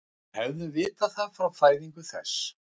Og hefðum vitað það frá fæðingu þess.